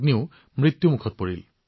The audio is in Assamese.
অৱশেষত তেওঁ হিমায়তৰ সহায় লাভ কৰিলে